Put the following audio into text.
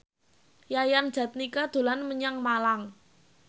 Yayan Jatnika dolan menyang Malang